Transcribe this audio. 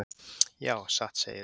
Já, satt segirðu.